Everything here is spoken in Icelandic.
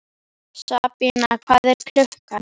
Sabína, hvað er klukkan?